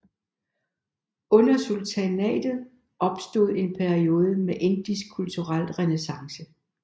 Under sultanatet opstod en periode med indisk kulturel renæssance